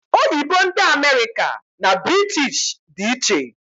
Oyibo ndị America na British dị iche